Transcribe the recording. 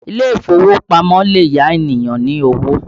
Ile ìfowópamọ́ lè yá ènìyàn ní owó